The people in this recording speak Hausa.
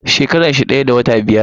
Shekarar shi daya da wata biyar.